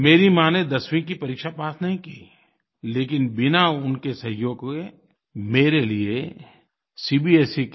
मेरी माँ ने दसवीं की परीक्षा पास नहीं की लेकिन बिना उनके सहयोग के मेरे लिये cbsई